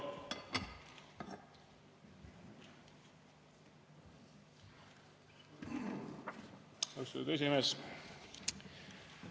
Austatud esimees!